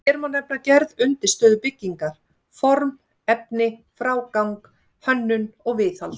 Hér má nefna gerð undirstöðu byggingar, form, efni, frágang, hönnun og viðhald.